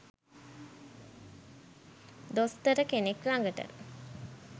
දොස්තර කෙනෙක් ලගට